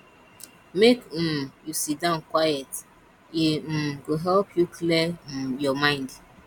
make um you sit down quiet e um go help you clear um your mind